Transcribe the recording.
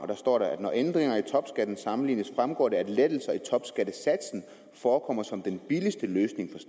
der står der at når ændringer i topskatten sammenlignes fremgår det at lettelser i topskattesatsen forekommer som den billigste løsning